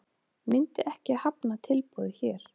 Myndi ekki hafna tilboði hér